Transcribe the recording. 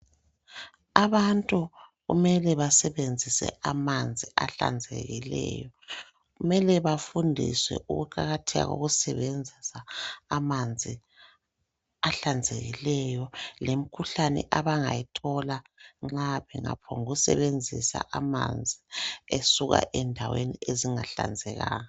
Abantu kumele basebenzise amanzi ahlanzekileyo . Kumele bafundiswe ukuqakatheka lokusebenzisa amanzi ahlanzekileyo lemikhuhlane abangayithola nxa bengaphongu sebenzisa amanzi esuka endaweni ezingahlanzekanga.